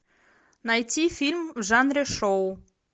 найти фильм в жанре шоу